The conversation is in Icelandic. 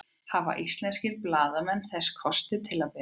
hafa íslenskir blaðamenn þessa kosti til að bera